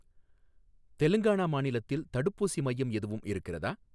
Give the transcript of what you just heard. தெலுங்கானா மாநிலத்தில் தடுப்பூசி மையம் எதுவும் இருக்கிறதா?